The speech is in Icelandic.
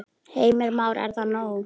Heimir Már: Er það nóg?